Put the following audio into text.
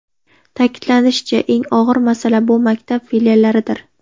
Ta’kidlanishicha, eng og‘ir masala bu maktab filiallaridir.